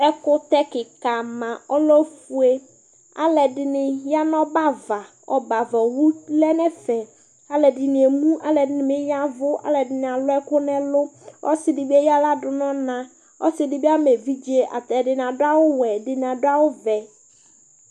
ɛkutɛ kika ma ɔlɛ ofʊe ɔlʊɛ dini ya nʊ ɔbɛ ava ɔbɛ ava yo wʊ lɛ nʊ ɛfɛ ɔlʊ ɛdini eli ɛdini yavʊ alʊ ɛkʊ nɛlʊ eya axla nʊ ɔna adʊ awʊ wɔɛ ɛdini awʊ vɛ